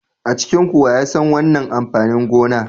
A cikinku wa ya san wannan amfanin gona?